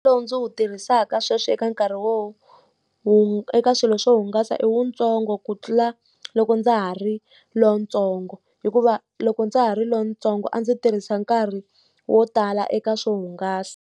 Lowu ndzi wu tirhisaka sweswi eka nkarhi eka swilo swo hungasa i wutsongo ku tlula loko ndza ha ri lontsongo. Hikuva loko ndza ha ri lontsongo a ndzi tirhisa nkarhi wo tala eka swo hungasa.